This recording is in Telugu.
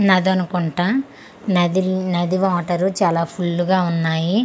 నదనుకుంటా నదిర్ నది వాటరు చాలా ఫుల్ గ ఉన్నాయి.